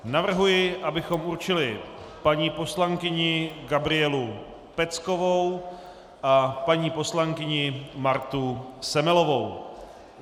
Navrhuji, abychom určili paní poslankyni Gabrielu Peckovou a paní poslankyni Martu Semelovou.